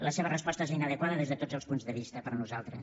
la seva resposta és inadequada des de tots els punts de vista per nosaltres